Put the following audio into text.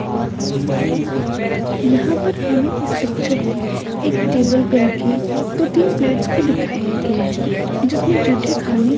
यहां पर हमे इस पिक्चर में एक टेबल पे रखे दो तीन प्लेट्स को दिखाया गया है जिसमें जूठे खाने--